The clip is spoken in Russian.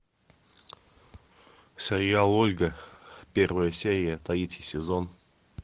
сериал ольга первая серия третий сезон